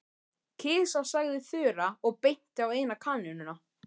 Kisa sagði Þura og benti á eina kanínuna.